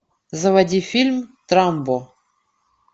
заводи фильм трамбо